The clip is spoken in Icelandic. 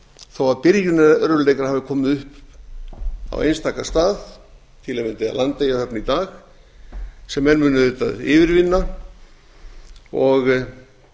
þó að byrjunarörðugleikar hafi komið upp á einstaka stað til að mynda í landeyjahöfn í dag sem menn munu auðvitað yfirvinna og